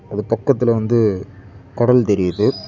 அது பக்கத்துல வந்து கடல் தெரியுது.